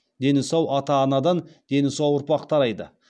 дені сау ата анадан дені сау ұрпақ тарайды